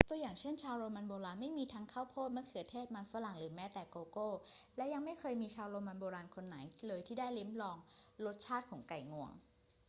ตัวอย่างเช่น ชาวโรมันโบราณไม่มีทั้งข้าวโพด มะเขือเทศ มันฝรั่ง หรือแม้แต่โกโก้ และยังไม่เคยมีชาวโรมันโบราณคนไหนเลยที่ได้ลิ้มลองรสชาติของไก่งวง